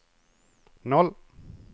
noll